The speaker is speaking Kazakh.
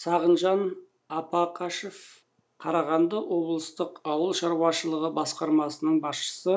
сағынжан апақашев қарағанды облыстық ауыл шаруашылығы басқармасының басшысы